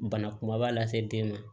Bana kumaba lase den ma